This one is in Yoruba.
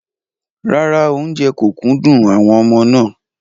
Rárá, oúnjẹ kò kúndùn àwọn ọmọ náà.